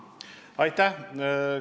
Aitäh!